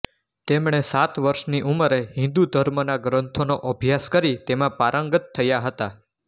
તેમણે સાત વર્ષની ઉમરે હિન્દુ ધર્મના ગ્રંથોનો અભ્યાસ કરી તેમાં પારંગત થયા હતા